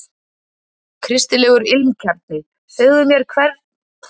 Kristilegur ilmkjarni Segðu mér meira um ilmvötn úr ilmkjarna?